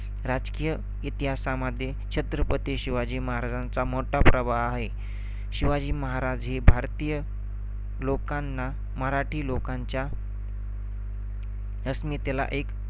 राजकीय इतिहासामध्ये शिवाजी महाराजांचा मोठा प्रभाव आहे. शिवाजी महाराज हे भारतीय लोकांना, मराठी लोकांच्या अस्मितेला एक